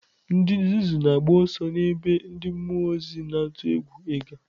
Ndị nzuzu na-agba ọsọ n'ebe ndị mmụọ ozi na-atụ egwu ịga.